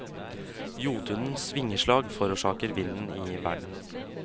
Jotunens vingeslag forårsaker vinden i verden.